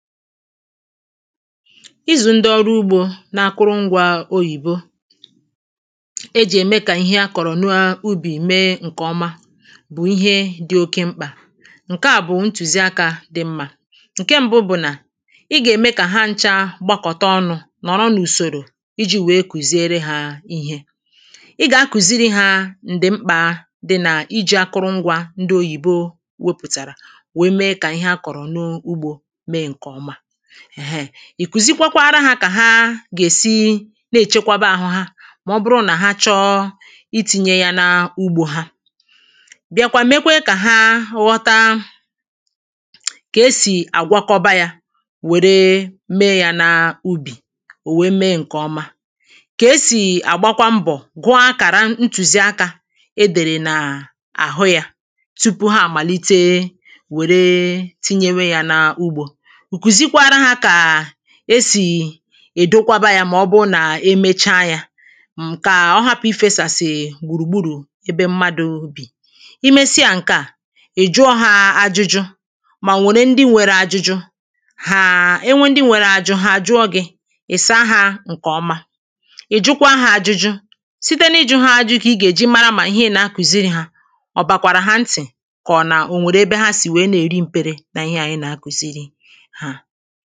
izù ndị ọrụ ugbȯ na akụrụ ngwa oyìbo ejì ème ka ihe akọ̀rọ̀ n’ubì mee ǹkè ọma bụ̀ ihe dị oke mkpà ǹke à bụ̀ ntùzi akȧ dị mmȧ ǹke mbụ bụ̀ nà ị gà-ème kà ha ncha gbakọ̀ta ọnụ̇ nọ̀rọ n’ùsòrò iji̇ wèe kùziere hȧ ihe ị gà-akùziri hȧ ǹdị mkpȧ dị nà iji̇ akụrụ ngwa ndị oyìbo wopùtàrà wèe mee kà ihe akọ̀rọ̀ n’ugbȯ èheè, ì kuzikwakwara ha kà ha gà-èsi n’èchekwaba àhụ ha mà ọ bụrụ nà ha chọọ i tinye ya n’ugbȯ ha bịakwa mekwaa kà ha ghọta kà esì àgwakọba yȧ wère mee ya n’ubì ò wère mee ǹkè ọma kà esì àgbakwa mbọ̀ gụọ akàra ntùzi akȧ e dèrè nà àhụ yȧ tupu ha àmàlite wèrè tinyewe ya n’ugbȯ ezìdokwara hȧ kà e sì è dokwaba yȧ mà ọ bụrụ nà e mecha yȧ m kà ọ hapụ̀ ifėsàsị̀ ègbùrùgbùrù ebe mmadụ̇ bì i mesịa ǹke à è juo hȧ ajụjụ mà nwèrè ndị nwėre ajụjụ hàà e nwe ndị nwere ajụ ha juo gị ị̀ saa hȧ ǹkè ọma ì jukwa hȧ ajụjụ site n’ịjụ̇ ha ajụ̇ kà ị gà è jị mara mà ihe ị nà akùziri hȧ ọ̀ bàkwàrà ha ntị̀ kà ọ̀ nà ò nwèrè ebe ha sì wèe na-èri mpere nà ihe à ihe à i nà akùziri màkà òdiri speed ahù o jì à gba ọsọ̇ o yà ẹ̀ mẹru ezigbote àhu ọ nàà di mmȧ kà ànyi gwakwa umùakȧ nà i gbȧ òdiri ọsọ̇ à a naà dicha mmȧ màkà i daàdà kòtere ònwegi̇ òfu nsògbu i gȧ hȧ pùtawu nà ya